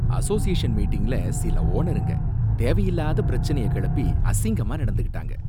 Association மீட்டிங்ல சில ஓனருங்க தேவையில்லாத பிரச்சனயகெளப்பி அசிங்கமா நடந்துகிடாங்க.